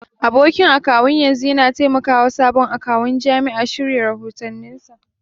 Abokin akawun yanzu yana taimakawa sabon akawun jami'a shirya rahotanninsa.